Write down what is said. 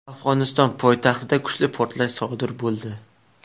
Afg‘oniston poytaxtida kuchli portlash sodir bo‘ldi.